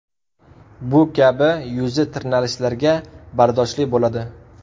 Bu kabi yuza tirnalishlarga bardoshli bo‘ladi.